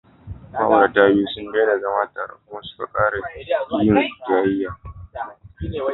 Ma'auratan biyu sun daina zama tare kuma suka ƙara yin jayayya.